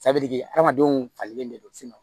hadamadenw falen de don